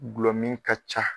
Glɔ min ka ca.